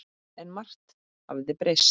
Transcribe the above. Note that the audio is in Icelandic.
En margt hafði breyst.